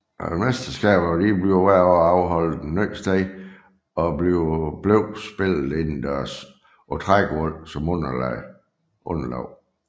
Mesterskaberne blev hvert år afholdt et nyt sted og blev spillet indendørs på trægulv som underlag